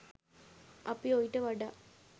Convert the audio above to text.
අපි ඔයිට වඩා